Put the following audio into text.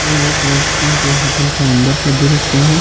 ये एक रेस्टोरेंट या होटल का अंदर का दृस्य है।